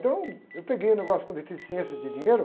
Então, eu peguei um negócio com deficiência de dinheiro.